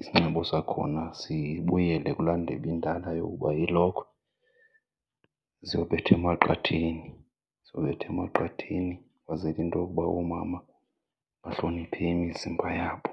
isinxibo sakhona sibuyele kulaa ndebe indala yokuba iilokhwe ziyobethwa emaqatheni, ziyobetha emaqatheni kwenzele into yokuba oomama bahloniphe imizimba yabo.